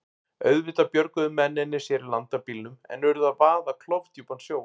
Auðvitað björguðu mennirnir sér í land af bílnum en urðu að vaða klofdjúpan sjó.